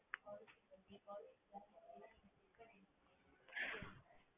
ஆஹ்